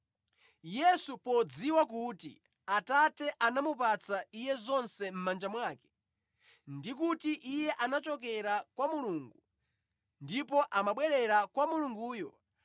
Yesu podziwa kuti Atate anamupatsa Iye zonse mʼmanja mwake, ndi kuti Iye anachokera kwa Mulungu ndipo amabwerera kwa Mulunguyo;